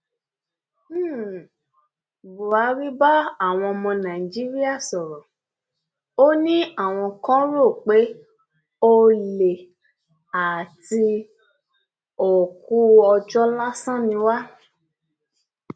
um buhari báwọn ọmọ nàìjíríà sọrọ ò ní àwọn kan rò pé olè àti um òkú ọjọ lásán ni wá